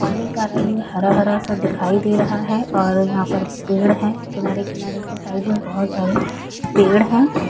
पानी का रंग हरा हरा सा दिखाई दे रहा है और यहां पर पेड़ है किनारे किनारे के साइड में बहुत सारे पेड़ है।